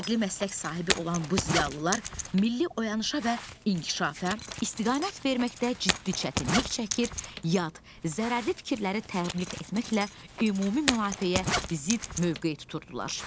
Fərqli məslək sahibi olan bu ziyalılar milli oyanışa və inkişafa istiqamət verməkdə ciddi çətinlik çəkir, yad, zərərli fikirləri təbliğ etməklə ümumi mənafeyə zidd mövqe tuturdular.